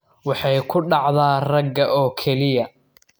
Waxay ku dhacdaa ragga oo keliya.